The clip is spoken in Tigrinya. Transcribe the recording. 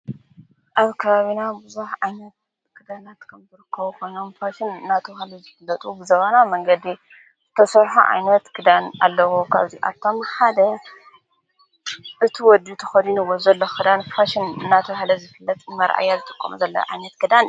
ኣብ ካብና ብዙኅ ዓይነት ክዳናት ከንብርካዉ ኾኖምፋሽን ናቲ ሃለ ዝፍለጡ ብዘባና መንገዲ ዘተሶዕሖ ዓይነት ግዳን ኣለዉኳ ዚኣቶም ሓደ እቲ ወዲ ተኸዱንዎ ዘለ ኽዳን ፋሽን ናቲ ሃለ ዝፍለጥ መርአያ ዝተቆም ዘለ ኣይነት ክዳን